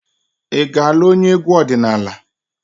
Ị ga-alụ onye egwu ọdịnala?